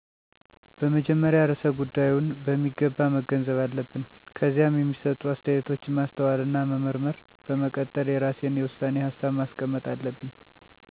በመጀመሪያ ርዕሰ ጉዳይውን በሚገባ መገንዘብ አለብን። ከዚያ የሚሰጡ አስተያየቶችን ማስተዋልና መመርመር፣ በመቀጠል የራሴን የውሳኔ ሀሳብ ማስቀመጥ አለብኝ።